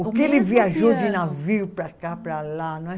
O que ele viajou de navio para cá, para lá, não é?